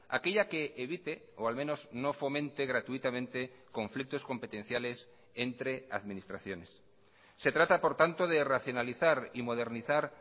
aquella que evite o al menos no fomente gratuitamente conflictos competenciales entre administraciones se trata por tanto de racionalizar y modernizar